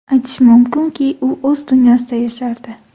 Aytish mumkinki, u o‘z dunyosida yashardi”.